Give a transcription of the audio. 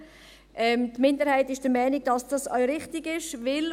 Die Minderheit ist der Meinung, dass dies auch richtig ist.